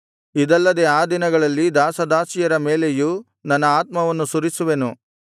ಇದಲ್ಲದೆ ಆ ದಿನಗಳಲ್ಲಿ ದಾಸದಾಸಿಯರ ಮೇಲೆಯೂ ನನ್ನ ಆತ್ಮವನ್ನು ಸುರಿಸುವೆನು